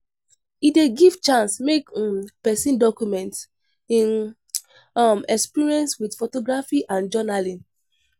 E dey give chance make um pesin document im um experience with photography and journaling.